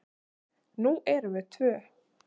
Nú erum við tvö.